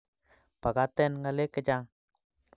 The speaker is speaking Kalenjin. Pakaten Ngalek che chang